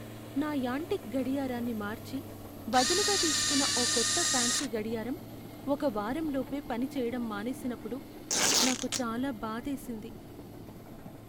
నా యాంటీక్ గడియారాన్ని మార్చి బదులుగా తీసుకున్న ఓ కొత్త ఫాన్సీ గడియారం ఒక వారం లోపే పని చెయ్యడం మానేసినప్పుడు నాకు చాలా బాధేసింది.